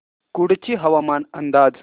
कुडची हवामान अंदाज